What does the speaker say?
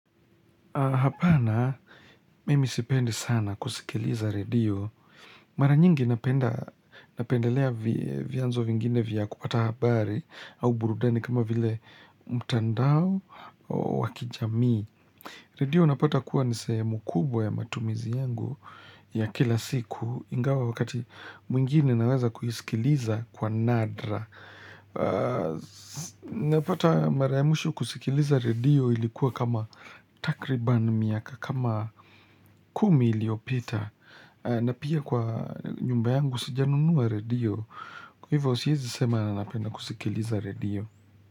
Hapana, mimi sipendi sana kusikiliza redio. Mara nyingi napendelea vyanzo vingine vya kupata habari au burudani kama vile mtandao wakijamii. Redio unapata kuwa nisehemu kubwa ya matumizi yangu ya kila siku ingawa wakati mwingine naweza kuisikiliza kwa nadra. Unapata mara ya mwisho kusikiliza redio ilikuwa kama takriban miaka, kama kumi iliyopita. Na pia kwa nyumba yangu sijanunua redio. Kwa hivyo siwezi sema nanapenda kusikiliza redio.